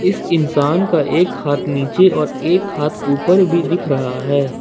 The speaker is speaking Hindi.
इस इंसान का एक हाथ नीचे और एक हाथ ऊपर भी दिख रहा है।